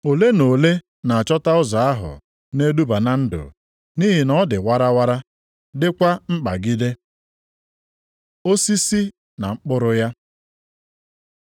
Ole na ole na-achọta ụzọ ahụ na-eduba na ndụ, nʼihi na ọ dị warawara, dịkwa nkpagide. Osisi na mkpụrụ ya